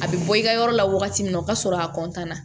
A bɛ bɔ i ka yɔrɔ la wagati min o ka sɔrɔ a na